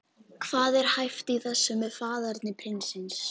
Hvað er hæft í þessu með faðerni prinsins?